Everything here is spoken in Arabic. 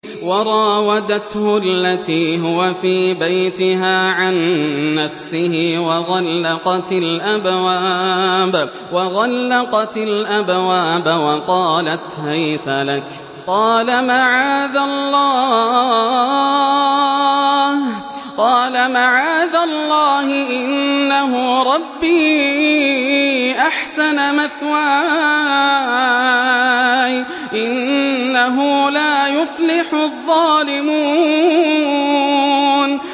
وَرَاوَدَتْهُ الَّتِي هُوَ فِي بَيْتِهَا عَن نَّفْسِهِ وَغَلَّقَتِ الْأَبْوَابَ وَقَالَتْ هَيْتَ لَكَ ۚ قَالَ مَعَاذَ اللَّهِ ۖ إِنَّهُ رَبِّي أَحْسَنَ مَثْوَايَ ۖ إِنَّهُ لَا يُفْلِحُ الظَّالِمُونَ